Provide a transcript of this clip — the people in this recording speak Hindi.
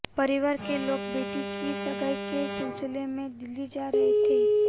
परिवार केे लोेग बेटी की सगाई के सिलसिले में दिल्ली जा रहे थे